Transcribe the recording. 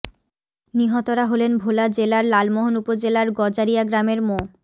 নিহতরা হলেন ভোলা জেলার লালমোহন উপজেলার গজারিয়া গ্রামের মো